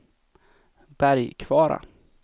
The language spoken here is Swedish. Bergkvara